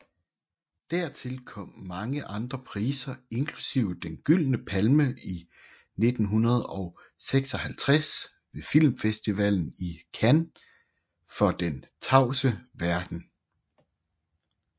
Dertil kom mange andre priser inklusive Den Gyldne Palme i 1956 ved filmfestivalen i Cannes for Den tavse verden